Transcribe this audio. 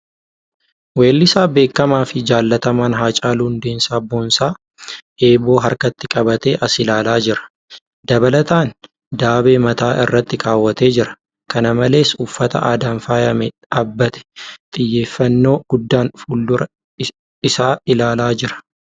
Weellisaa beekamaa fi jaalatamaan Haacaaluu Hundeessaa Boonsaa eeboo harkatti qabatee as ilaalaa jira. Dabalataan , daabee mataa irratti keewwatee jira. Kana malees, uffata aadaan faayamee dhaabbatee xiyyeeffannoo guddaan fuuldura isaa ilaalaa jira.